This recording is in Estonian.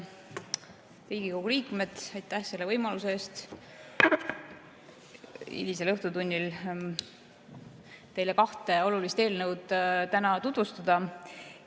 Head Riigikogu liikmed, aitäh selle võimaluse eest täna hilisel õhtutunnil teile kahte olulist eelnõu tutvustada!